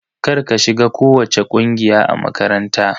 Kar ka shiga kowacce ƙungiya a makaranta!